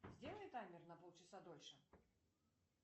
сделай таймер на полчаса дольше